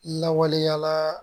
Lawaleyalaa